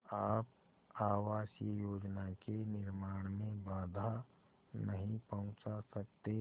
आप आवासीय योजना के निर्माण में बाधा नहीं पहुँचा सकते